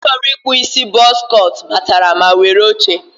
otu nwoke chọrọ ịkpụ isi bọz cọt batara ma were oche.